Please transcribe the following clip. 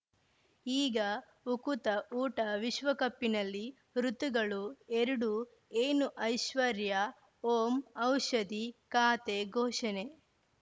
ಈಗ ಉಕುತ ಊಟ ವಿಶ್ವಕಪ್ಪಿನಲ್ಲಿ ಋತುಗಳು ಎರಡು ಏನು ಐಶ್ವರ್ಯಾ ಓಂ ಔಷಧಿ ಖಾತೆ ಘೋಷಣೆ